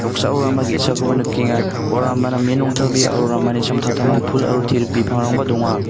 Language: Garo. noksao rama ge·sakoba nikenga ua rama namen rongtabea aro ramani samtangtango pul aro te·rik bipangrangba donga.